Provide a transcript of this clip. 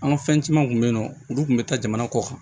An ka fɛn camanw kun bɛ yen nɔ olu tun bɛ taa jamana kɔ kan